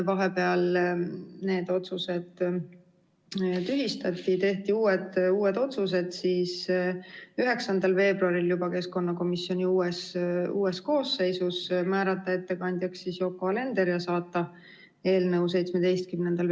Vahepeal need otsused tühistati, uued otsused tehti 9. veebruaril juba keskkonnakomisjoni uues koosseisus: määrati ettekandjaks Yoko Alender ja otsustati saata eelnõu 17. veebruariks suurde saali.